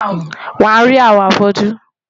Wàá rí àwọn afọ́jú.